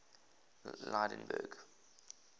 lydenburg